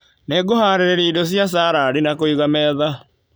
Nĩngũharĩrĩria indo cia sarandi na kũiga metha.